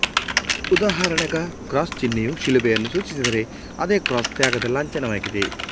ಉದಾಹರಣೆಗ cross ಚಿನ್ಹೆಯು ಶಿಲುಬೆಯನ್ನು ಸೂಚಿಸಿದರೆ ಅದೇ ಕ್ರಾಸ್ ತ್ಯಾಗದ ಲಾಂಛನವಾಗಿದೆ